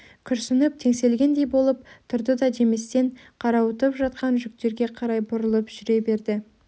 күрсініп теңселгендей болып тұрды да деместен қарауытып жатқан жүктерге қарай бұрылып жүре берді